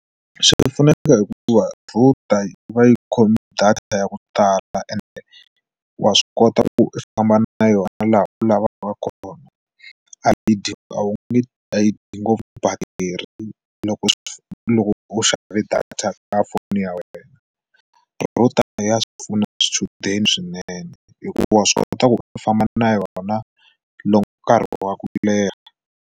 Swi pfuneke hikuva router yi va yi khomi data ya ku tala ende wa swi kota ku famba na yona laha u lavaka kona a yi dyi a wu nge a yi dyi ngopfu batiri loko loko u xava data ka foni ya wena, router ya swi pfuna swichudeni swinene hikuva swi kota ku u famba na yona loko nkarhi wa ku leha.